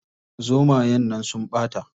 Zomayen nan sun ɓata.